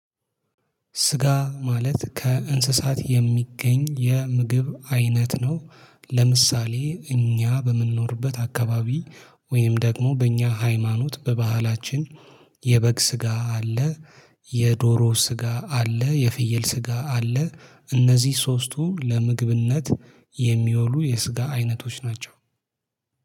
ስጋ ማለት ከእንስሳት የሚገኝ የምግብ አይነት ነው። ለምሳሌ እኛ በምንኖርበት አካባቢ ወይም ደግሞ በእኛ ሃይማኖት በባህላችን የበግ ስጋ አለ። የዶሮ ስጋ አለ የፍየል ስጋ አለ እነዚህ ሶስቱ ለምግብነት የሚወሉ የስጋ አይነቶች ናቸው